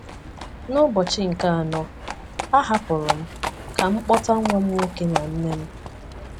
N’ụbọchị nke anọ, a hapụrụ m ka m kpọta nwa m nwoke na nne m.